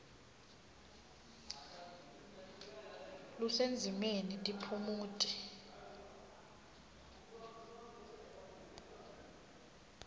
lusendzimeni tiphumuti